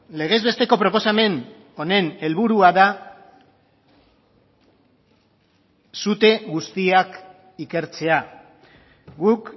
legez besteko proposamen honen helburua da sute guztiak ikertzea guk